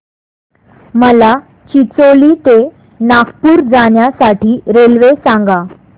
मला चिचोली ते नागपूर जाण्या साठी रेल्वे सांगा